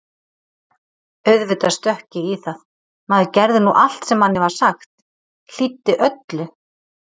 Auðvitað stökk ég í það, maður gerði nú allt sem manni var sagt, hlýddi öllu.